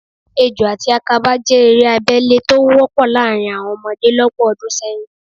Ejò àti àkàbà jẹ́ eré abẹ́lé tó wọ́pọ̀ láàrín àwọn ọmọdé lọ́pọ̀ ọdún sẹ́yìn